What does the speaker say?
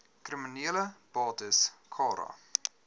kriminele bates cara